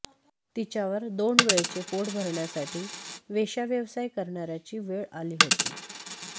तिच्यावर दोन वेळचे पोट भरण्यासाठी वेश्या व्यवसाय करणाऱ्याची वेळ आली होती